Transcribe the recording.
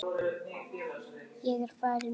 Ég er farin út í.